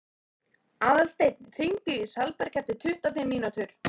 Aðalsteinn, hringdu í Salberg eftir tuttugu og fimm mínútur.